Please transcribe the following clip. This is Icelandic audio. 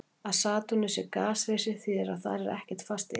Að Satúrnus sé gasrisi þýðir að þar er ekkert fast yfirborð.